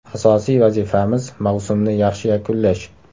Asosiy vazifamiz mavsumni yaxshi yakunlash.